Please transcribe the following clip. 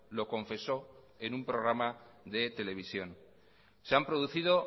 lo confesó en un programa de televisión se han producido